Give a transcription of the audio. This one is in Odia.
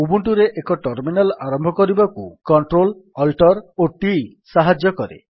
ଉବୁଣ୍ଟୁରେ ଏକ ଟର୍ମିନାଲ୍ ଆରମ୍ଭ କରିବାକୁ Ctrl Alt t ସାହାଯ୍ୟ କରେ